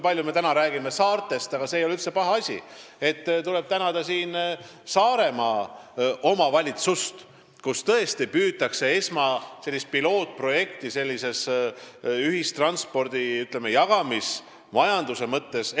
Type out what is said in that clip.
Taas tuleb tänada Saaremaa omavalitsust – vaat, kui palju me täna räägime saartest, aga see ei ole üldse paha asi –, kus tõesti püütakse ellu viia pilootprojekti sellises, ütleme, ühistranspordi jagamismajanduse mõttes.